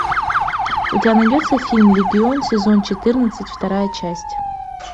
у тебя найдется фильм легион сезон четырнадцать вторая часть